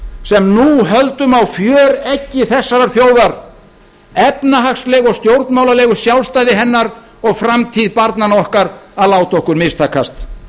nú höldum á fjöreggi þessarar þjóðar efnahagslegu og stjórnmálalegu sjálfstæði hennar og framtíð barnanna okkar að láta okkur mistakast